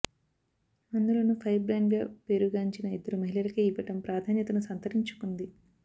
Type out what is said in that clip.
అందులోనూ ఫైర్ బ్రాండ్గా పేరుగాంచిన ఇద్దరు మహిళలకే ఇవ్వడం ప్రాధాన్యతను సంతరించుకుంది